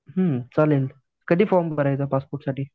हं चालेल कधी फॉर्म भरायचा पासपोर्टसाठी?